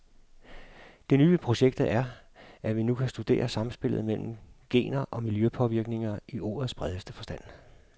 Det nye ved projektet er, at vi nu kan studere samspillet mellem gener og miljøpåvirkninger i ordets bredeste forstand.